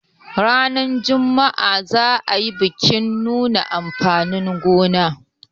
ranar Juma'a za a yi bikin nuna amfanin gona